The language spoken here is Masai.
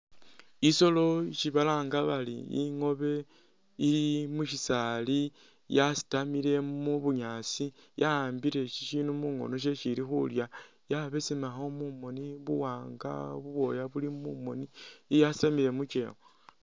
I'solo isi balanga bari ingoobe ili mushisaali yasitamile mubunyaasi yawambile shishindu mungoono shesi ili khulya yabesemakho mumoni buwaanga bubwooya buli mumoni iyasani mukewa